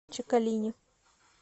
чекалине